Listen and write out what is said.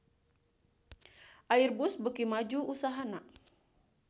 Airbus beuki maju usahana